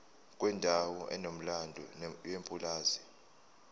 kwendawo enomlando yepulazi